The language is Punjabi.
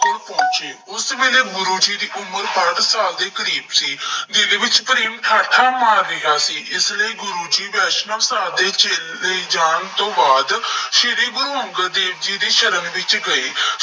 ਕੋਲ ਪਹੁੰਚੇ। ਉਸ ਵੇਲੇ ਗੁਰੂ ਜੀ ਦੀ ਉਮਰ ਸੱਠ ਸਾਲ ਦੇ ਕਰੀਬ ਸੀ। ਦਿਲ ਵਿੱਚ ਪ੍ਰੇਮ ਠਾਠਾਂ ਮਾਰ ਰਿਹਾ ਸੀ। ਇਸ ਲਈ ਗੁਰੂ ਵੈਸ਼ਨਵ ਸਾਧ ਦੇ ਚਲੇ ਜਾਣ ਤੋਂ ਬਾਅਦ, ਸ਼੍ਰੀ ਗੁਰੂ ਅੰਗਦ ਦੇਵ ਜੀ ਦੀ ਸ਼ਰਨ ਵਿੱਚ ਗਏ।